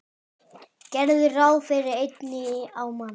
Gerðu ráð fyrir einni á mann.